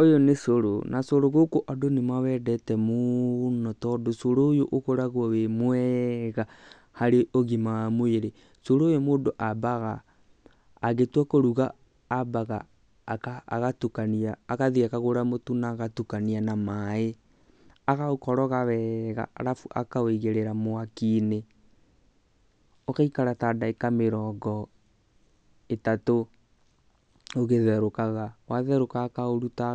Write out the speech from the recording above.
Ũyũ nĩ cũrũ. Na cũrũ gũkũ andũ nĩ mawendete mũno tondũ cũrũ ũyũ ũkoragũo wĩ mwega harĩ ũgima wa mwĩrĩ. Cũrũ ũyũ mũndũ ambaga agĩtua kũruga ambaga agatukania agathiĩ akagũra mũtu na agatukania na maĩ agaũkoroga wega arabu akawĩigĩrĩra mwaki-inĩ ũgaikara ta ndagĩka mĩrongo ĩtatũ ũgĩtherũkaga, watherũka akaũruta